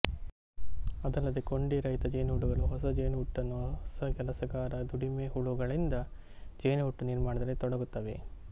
ಅದಲ್ಲದೇ ಕೊಂಡಿ ರಹಿತ ಜೇನುಹುಳುಗಳು ಹೊಸ ಜೇನುಹುಟ್ಟನ್ನು ಹೊಸ ಕೆಲಸಗಾರ ದುಡಿಮೆ ಹುಳುಗಳಿಂದ ಜೇನುಹುಟ್ಟು ನಿರ್ಮಾಣದಲ್ಲಿ ತೊಡುಗುತ್ತವೆ